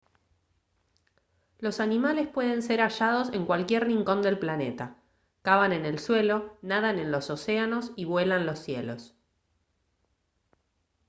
los animales pueden ser hallados en cualquier rincón del planeta cavan en el suelo nadan en los océanos y vuelan los cielos